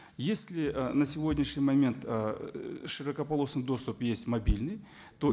если ы на сегодняшний момент ыыы широкополосный доступ есть мобильный то